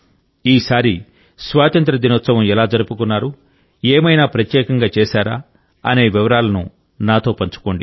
ఈసారి స్వాతంత్ర్య దినోత్సవం ఎలా జరుపుకున్నారు ఏమైనా ప్రత్యేకంగా చేశారా అనే వివరాలను నాతో పంచుకోండి